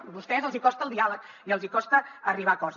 a vostès els hi costa el diàleg i els hi costa arribar a acords